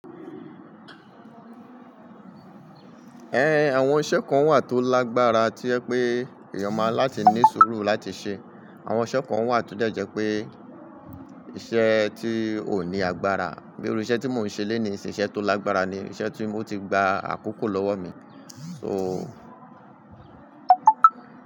Ẹn, àwọn iṣẹ́ kan wà tó lágbára tí ẹ pé èèyàn máa láti ní sùúrù láti ṣe. Àwọn iṣẹ́ kan wà tó dẹ̀ jẹ́ pé iṣẹ́ tí ò ní agbára. Bí i irú iṣẹ́ tí mò ń ṣe lónìí nisìn iṣẹ́ tó lágbára ni. Iṣẹ́ tí ó ti gba àkókò lọ́wọ́ mi. So.